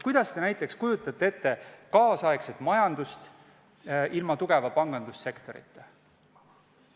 Kuidas te kujutaksite tänapäeval ette majandust ilma tugeva pangandussektorita?